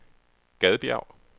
Gadbjerg